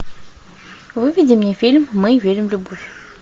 выведи мне фильм мы верим в любовь